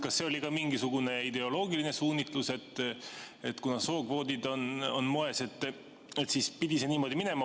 Kas see oli mingisugune ideoloogiline suunitlus, et kuna sookvoodid on moes, siis pidi see nii minema?